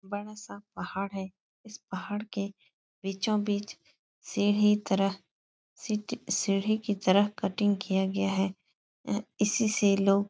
बडा़ सा पहाड़ है। इस पहाड़ के बीचों-बीच सीढ़ी तरह सीटी सीढ़ी की तरह कटिंग किया गया है। एं इसी से लोग --